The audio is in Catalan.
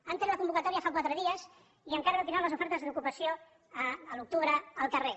han tret la convocatòria fa quatre dies i encara no tindran les ofertes d’ocupació a l’octubre al carrer